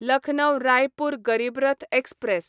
Lucknow Raipur Garib Rath express